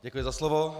Děkuji za slovo.